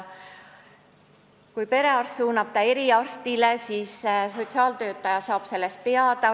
Kui perearst suunab ta eriarstile, siis sotsiaaltöötaja saab sellest teada.